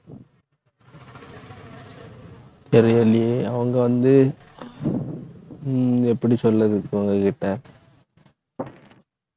தெரியில்லையே அவங்க வந்து உம் எப்படி சொல்றது இப்ப உங்க கிட்ட